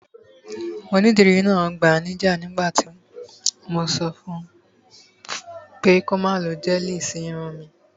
Onídìrí náà gbanájẹ ní ìgbà náà nígbà tí mo sọ fun pé kí ó má lo gẹ́ẹ̀lì sí irun mi